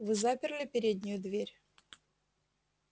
вы заперли переднюю дверь